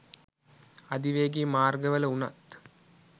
අධිවේගී මාර්ගවල වුණත්